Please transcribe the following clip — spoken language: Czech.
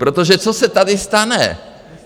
Protože co se tady stane?